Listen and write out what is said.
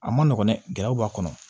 A ma nɔgɔn dɛ gɛlɛw b'a kɔnɔ